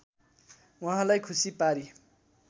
उहाँलाई खुसी पारी